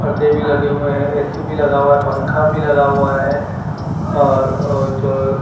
पर्दे भी लगे हुए हैं ए_सी भी लगा हुआ है पंखा भी लगा हुआ है और जो--